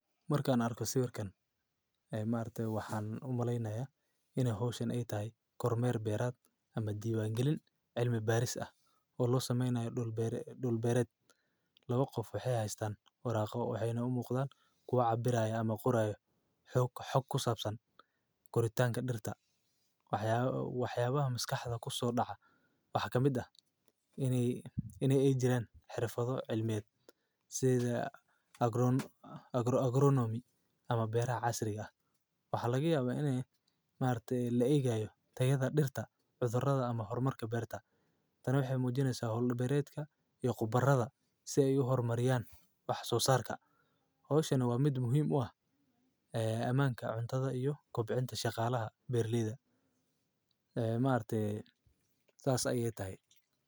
Markan, arko si warkan. Ay maarte waxaan u malaynaya inay hawshin ey tahay Kormeer Beerad ama diiwaangelin cilmi baaris ah oo loo sameynayo dhul bere dhul beeret. Labo qof waxay haystaan waraaqo waxayna u muuqdan kuwa cabirayo ama quraya xog xog ku saabsan koritaanka dhirta. Waxya waxyaabaha maskaxda ku soo dhaca waxaa kamid ah inay inay ei jireen xirfado cilmiyeed si ay agro agro agronomy ama beer casriga ah. Waxaa laga yaabaa inay maarte la eegaayo tayada dhirta, cudurada ama hormarka beerta. Tani waxay muujinaysaa hawlo beeretka iyo qobarada si ay u hormariyaan wax soo saarka. Hawshanna waa mid muhiim u ah ee ammaanka cuntada iyo kobcinta shaqaalaha Berliida. Ee maarte saac adiga tahay.